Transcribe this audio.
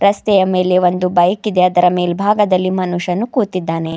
ರಸ್ತೆಯ ಮೇಲೆ ಒಂದು ಬೈಕಿದೆ ಅದರ ಮೇಲ್ಭಾಗದಲ್ಲಿ ಮನುಷ್ಯನು ಕೂತಿದ್ದಾನೆ.